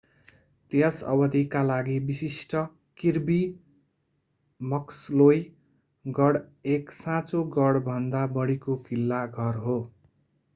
त्यस अवधिका लागि विशिष्ट किर्बी मक्सलोई गढ एक साँचो गढभन्दा बढीको किल्ला घर हो